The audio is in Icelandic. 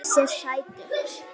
Þessir sætu!